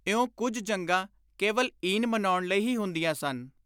ਇਉਂ ਕੁਝ ਜੰਗਾਂ ਕੇਵਲ ਈਨ ਮਨਾਉਣ ਲਈ ਹੀ ਹੁੰਦੀਆਂ ਸਨ।